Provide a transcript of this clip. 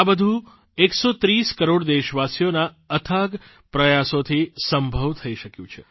આ બધું 130 કરોડ દેશવાસીઓના અથાગ પ્રયાસોથી સંભવ થઇ શક્યું છે